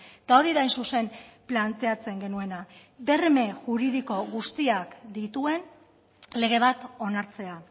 eta hori da hain zuzen planteatzen genuena berme juridiko guztiak dituen lege bat onartzea